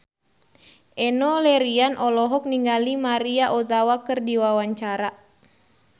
Enno Lerian olohok ningali Maria Ozawa keur diwawancara